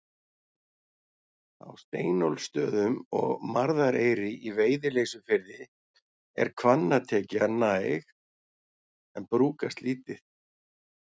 Á Steinólfsstöðum og Marðareyri í Veiðileysufirði, er hvannatekja næg en brúkast lítið.